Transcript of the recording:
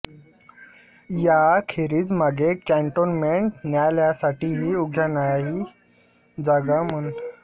याखेरीज मागे कॅंटोन्मेंट न्यायालयासाठीही उद्यानाची जागा मागण्याचा प्रयत्न झाला होता अशी आठवणही ते सांगतात